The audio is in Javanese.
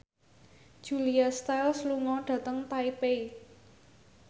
Julia Stiles lunga dhateng Taipei